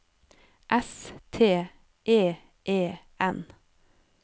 S T E E N